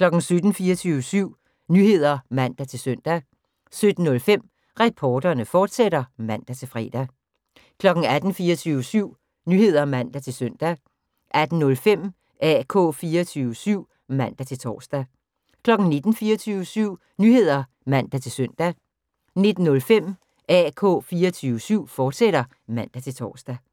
17:00: 24syv Nyheder (man-søn) 17:05: Reporterne, fortsat (man-fre) 18:00: 24syv Nyheder (man-søn) 18:05: AK 24syv (man-tor) 19:00: 24syv Nyheder (man-søn) 19:05: AK 24syv, fortsat (man-tor)